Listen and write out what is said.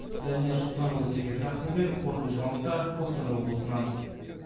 данияр сұлтанұлы сергей трахтенберг қорытынды жаңалықтар қостанай облысынан